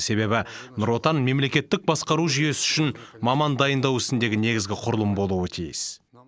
себебі нұр отан мемлекеттік басқару жүйесі үшін маман дайындау ісіндегі негізгі құрылым болуы тиіс